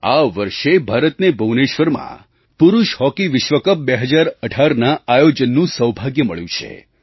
આ વર્ષે ભારતને ભુવનેશ્વરમાં પુરુષ હૉકી વિશ્વ કપ 2018ના આયોજનનું સૌભાગ્ય મળ્યું છે